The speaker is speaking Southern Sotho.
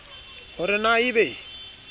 ho re na e be